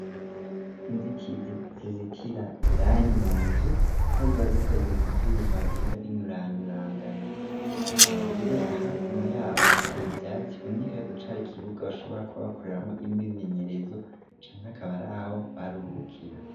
Inzitizi zizitira indani mu nzu aho ziba zikoze mu vyuma bigenda b'inyuranyurangana kabariro ahakuno yaho hateye ivyacu bonika yeko cari kibuga bashobora kuba bakuriramwo imimenyerezo canke akabaraho baruhukira.